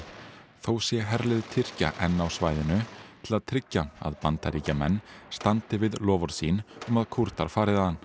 þó sé herlið Tyrkja enn á svæðinu til að tryggja að Bandaríkjamenn standi við loforð sín um að Kúrdar fari þaðan